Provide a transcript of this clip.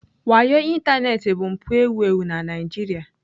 Wayo ịntanetị bụ mpụ ewu ewu na Nigeria.